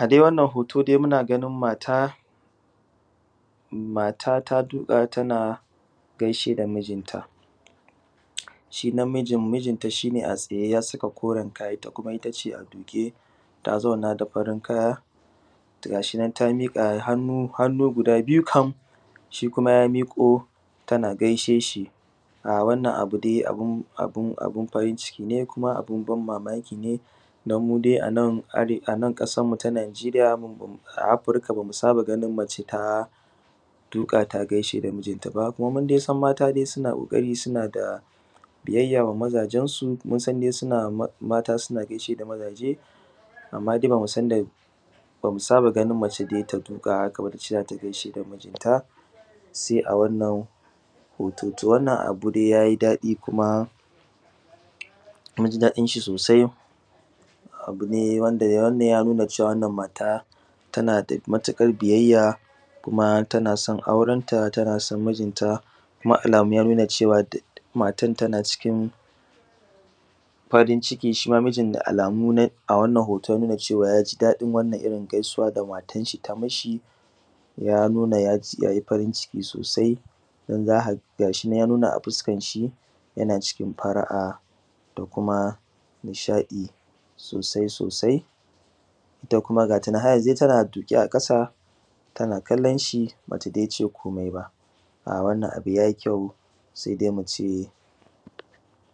A dai wannan hoto dai muna ganin mata, mata ta duƙa tana gaishe da mijin ta shi namijin shine a tsaye ya saka koren kaya itta kuma ittace ta a duke zauna da farin kaya. Gashinan ta miƙa hannu hannu guda biyu kam shi kuma ya miko tana gaishe shi, ha wannan abu dai abu abun abun farin ciki ne kuma abun ban mamaki ne. Dan mudai anan are anan ƙasan mu ta najeiya a afirika bamu saba ganin mace ta duƙa ta gaishe da mijin taba munsan dai mata suna da biyya ga mazajen su, munsan dai m mata suna gaishe da maje amma bamu sanda bamu saba ganin mace ta duƙa tana gaida tace zata gaishe da mijin ta sai a wannan hoton to wannan abu dai yayi daɗi kuma munji daɗin shi sosai abune wanda wannan ya nuna cewa wannan mata tanada matukar biyayya kuma tanason auren ta tana son mijin ta kuma alamu ya nuna cewa matan tana cikin farin shima mijin da alamu a wannan ya nuna yaji daɗin irin wannan gaisuwa da matar shi tayi mishi. Ya nuna yaji yaji yayi farin ciki sosai dan za ka ga gashi ya nuna a fuskanshi yana cikin fari’a da kuma nishaɗi sosai sosai, ita kuma gatanan har yanzu tana har yanzu dai tana duƙe a ƙasa tana kallon shi batace komai ba um wannan abu yayi kyau sai dai muce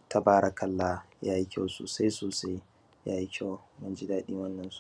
tabarakallah yayi kyau sosai sosai yayi kyau munji daɗin wannan.